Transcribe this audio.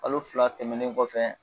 Kalo fila tɛmɛnen kɔfɛ